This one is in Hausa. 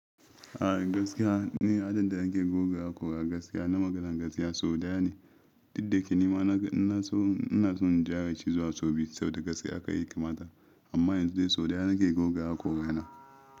A gaskiya ni, adadin da nake goga hakora gaskiya na maganan gaskiya sau daya ne. Didda yake nima naga ina so, ina son in gyara shi zuwa sau biyu saboda gaskiya haka ya kamata. Amma yanzu dai sau ɗaya nake goga hakora na.